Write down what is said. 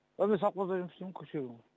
ия мен совхозда жұмыс істеймін ғой күріш егемін ғой